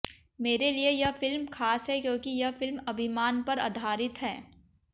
मेरे लिए यह फिल्म खास है क्योंकि यह फिल्म अभिमान पर आधारित है